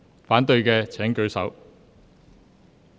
反對的請舉手。